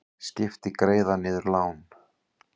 Skipti greiða niður lán